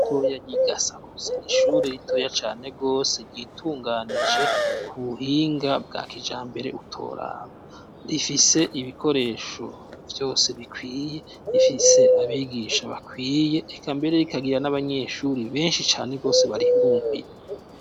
Ishure ritoya ry'igasakuza,n' ishuri ritoya cane gose, ryitunganije ku buhinga bwa kijambere utoraba, rifise ibikoresho vyose bikwiye ,rifise abigisha bakwiye, eka mbere rikagira n'abanyeshuri benshi cane gose barihirumbiye.